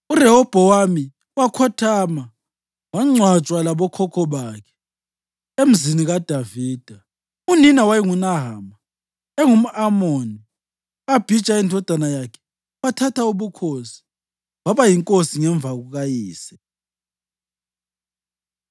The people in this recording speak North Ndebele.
URehobhowami wakhothama, wangcwatshwa labokhokho bakhe eMzini kaDavida. Unina wayenguNahama, engumʼAmoni. U-Abhija indodana yakhe wathatha ubukhosi waba yinkosi ngemva kukayise.